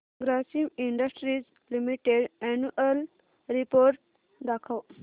Grasim industries limited annual report दाखव